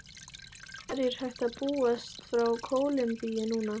Við hverju er hægt að búast frá Kólumbíu núna?